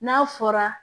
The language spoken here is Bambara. N'a fɔra